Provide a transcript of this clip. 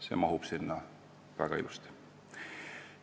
See mahub sinna väga ilusasti.